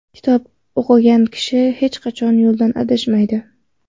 Kitob o‘qigan kishi hech qachon yo‘ldan adashmaydi.